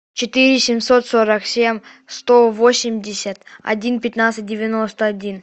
четыре семьсот сорок семь сто восемьдесят один пятнадцать девяносто один